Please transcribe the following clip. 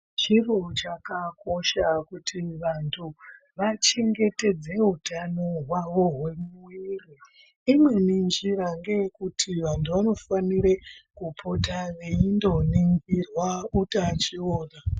Chiro chakakosha kuti vantu vachengetedze utano hwavo hwemuviri imweni nzira ngeyekuti kuti vantu vanofanire kupota veindoningirwa utachiona .